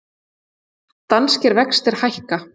Danskir vextir hækka